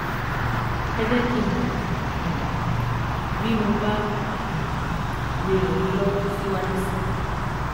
Ẹ jẹ́ kí n mọ̀ um bí mo bá um lè ràn yín lọ́wọ́ síwájú sí i